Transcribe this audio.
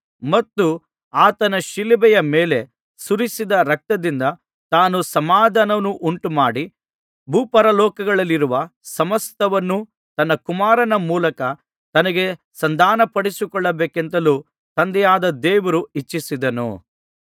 ಮತ್ತು ಆತನು ಶಿಲುಬೆಯ ಮೇಲೆ ಸುರಿಸಿದ ರಕ್ತದಿಂದ ತಾನು ಸಮಾಧಾನವನ್ನುಂಟುಮಾಡಿ ಭೂಪರಲೋಕಗಳಲ್ಲಿರುವ ಸಮಸ್ತವನ್ನೂ ತನ್ನ ಕುಮಾರನ ಮೂಲಕ ತನಗೆ ಸಂಧಾನಪಡಿಸಿಕೊಳ್ಳಬೇಕೆಂತಲೂ ತಂದೆಯಾದ ದೇವರು ಇಚ್ಛಿಸಿದನು